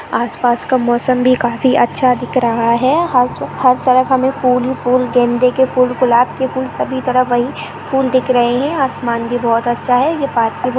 आसपास का मौसम भी काफी अच्छा दिख रहा है हर हर तरफ हमें फूल ही फूल गेंदे के फूल गुलाब के फूल सभी तरह वही फुल दिख रहे हैं आसमान भी बहुत अच्छा है यह पार्ट --